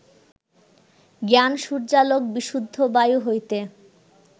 জ্ঞান-সূর্যালোক বিশুদ্ধ বায়ু হইতে